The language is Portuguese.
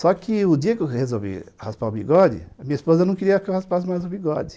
Só que o dia que eu resolvi raspar o bigode, a minha esposa não queria que eu raspasse mais o bigode.